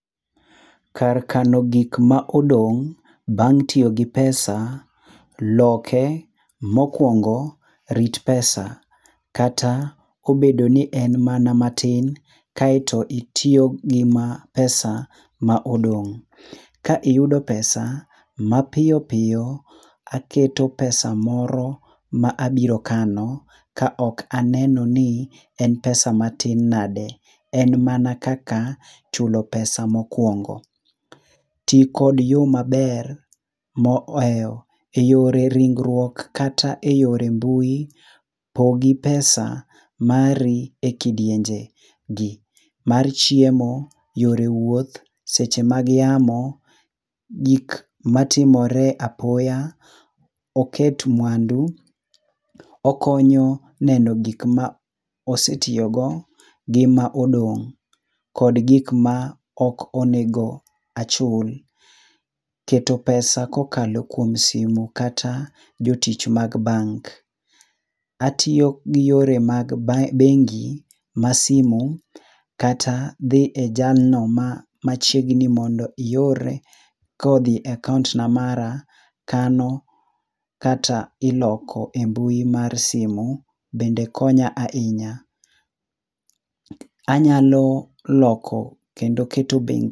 Kar kano gik ma odong' bang' tiyo gi pesa, loke, mokuongo rut pesa kata obed mana ni en mana matin kae to itiyo go ma pesa ma odong, ka iyudo pesa mapiyo piyo aketo pesa moro ma abiro kano ma ok aneno ni en pesa matin nade en mana kaka chulo pesa ma okuongo. ti kod yo maber ma ohewo yore ringruok kata e yore mbui pogi pesa mari e kidienje gi; mar chiemo, yore wuoth, seche mag yamo, gik ma timore apoya, oket mwandu, okonyo neno gik ma osetiyo go gi ma odong kod gik ma ok onego achul .Keto pesa ka okalo kuom simo kata jotich mag bank .Atiyo gi yore mag bengi ma simo kata dhi e jal no machiegni mondo ior ka odhi e akaunt ma mara, kano kata iloko e mbui mar simo bende konya ahinya. Anyalo loko kendo keto bengi.